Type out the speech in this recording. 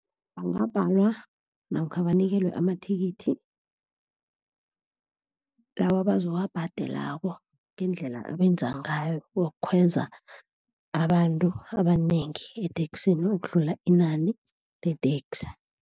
Bangabhalwa namkha banikelwe amathikithi, lawa abazowabhadelako ngendlela abenza ngayo, wokukhweza abantu abanengi eteksini ukudlula inani leteksi.